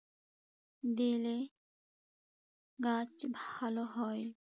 দিলে গাছ ভালো হয়।